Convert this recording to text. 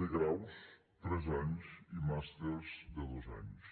de graus tres anys i màsters de dos anys